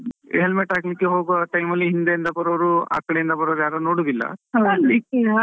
helmet ಹಾಕ್ಲಿಕ್ಕೆ ಹೋಗುವ time ಅಲ್ಲಿ ಹಿಂದೆ ಇಂದ ಬರುವವ್ರು, ಅಕಡೆ ಇಂದ ಬರುವವ್ರು ಯಾರು ನೋಡುದಿಲ್ಲ, ಅಲ್ಲಿ .